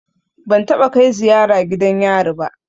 Ban taɓa kai ziyara gidan yari ba.